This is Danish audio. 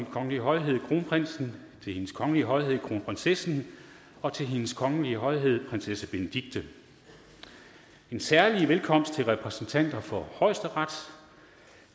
kongelige højhed kronprinsen til hendes kongelige højhed kronprinsessen og til hendes kongelige højhed prinsesse benedikte en særlig velkomst til repræsentanterne for højesteret